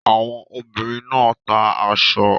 Àwọn ọmọbìnrin náà ta aṣọ.